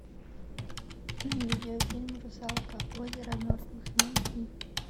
видеофильм русалка озеро мертвых найти